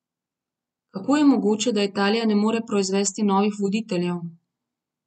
Kako je mogoče, da Italija ne more proizvesti novih voditeljev?